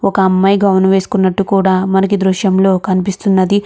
ఒక అమ్మాయి గౌన్ వేసుకున్నట్టు కూడా మనకి ఈ దృశ్యంలో కనిపిస్తున్నది.